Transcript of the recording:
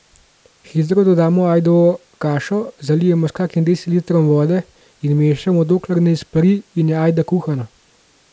Hitro dodamo ajdovo kašo, zalijemo s kakim decilitrom vode in mešamo, dokler ne izpari in je ajda kuhana.